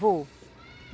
Vou.